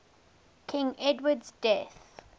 king edward's death